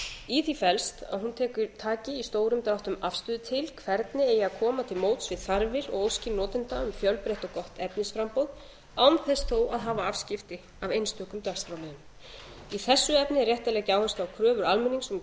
í því felst að hún taki í stórum dráttum afstöðu til hverju eigi að koma til móts við þarfir og óskir notenda um fjölbreytt og gott efnisframboð án þess þó að hafa afskipti af einstökum dagskrárliðum í þessu efni er rétt að gegna áherslu á kröfur almennings um